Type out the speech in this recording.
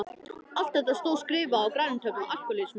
Allt þetta stóð skrifað á græna töflu: Alkohólismi.